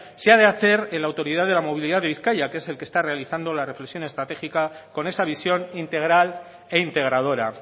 se ha de hacer en la autoridad de la movilidad de bizkaia que es el que está realizando la reflexión estratégica con esa visión integral e integradora